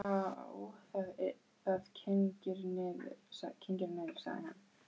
Já, það kyngir niður, sagði hann.